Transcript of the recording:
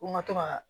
Ko n ka to ka